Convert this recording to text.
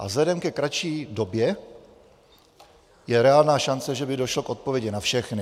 A vzhledem ke kratší době je reálná šance, že by došlo k odpovědi na všechny.